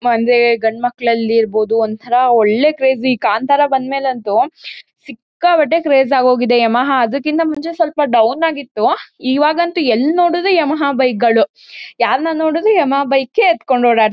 ಒಂದೇ ಗಂಡ್ಮಕ್ಳಲ್ಲಿ ಇರ್ಬಹುದು ಒಂಥರಾ ಒಳ್ಳೆ ಕ್ರೇಜ್ . ಈ ಕಾಂತಾರ ಬಂದ್ ಮೇಲಂತೂ ಸಿಕ್ಕಾಪಟ್ಟೆ ಕ್ರೇಜ್ ಆಗ್ ಹೋಗಿದೆ ಯಮಹ ಅದಕ್ಕಿಂಥ ಮುಂಚೆ ಸ್ವಲ್ಪ ಡೌನ್ ಆಗಿತ್ತು. ಈವಾಗ್ ಅಂತೂ ಎಲ್ ನೋಡಿದ್ರು ಯಮಹ ಬೈಕ್ ಗಳು ಯಾರ್ನ ನೋಡಿದ್ರು ಯಮಹ ಬೈಕ್ ಏ ಹತ್ಕೊಂಡ್ ಓಡಾಡ್ತ್--